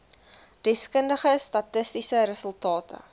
deskundige statistiese resultate